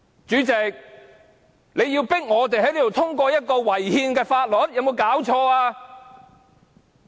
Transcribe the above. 主席，你迫我們在這裏通過一項違憲的法律，這是否太過分了？